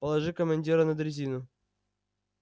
положи командира на дрезину